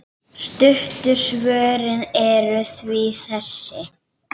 Stuttu svörin eru því þessi